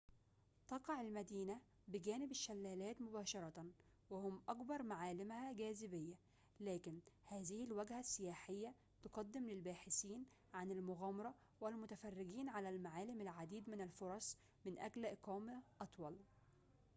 تقع المدينة بجانب الشلالات مباشرةً وهم أكبر معالمها جاذبية لكن هذه الوجهة السياحية تقدم للباحثين عن المغامرة والمتفرجين على المعالم العديد من الفرص من أجل إقامة أطول